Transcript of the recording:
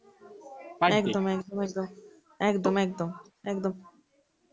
একদম একদম একদম, একদম একদম, একদম.